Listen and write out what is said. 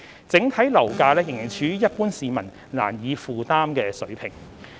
整體樓價仍處於一般市民難以負擔的水平。